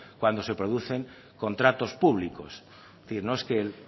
cuando se producen contratos públicos es decir no es que